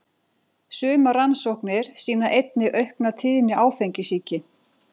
Sumar rannsóknir sýna einnig aukna tíðni áfengissýki.